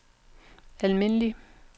almindelig